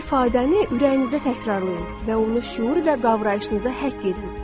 Bu ifadəni ürəyinizdə təkrarlayın və onu şüur və qavrayışınıza həkk edin.